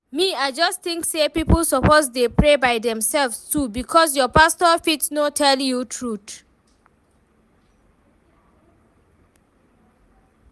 Me I just think say people suppose dey pray by themselves too because your pastor fit no tell you truth